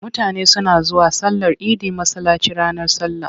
Mutane suna zuwa sallar idi masallaci ranar sallah.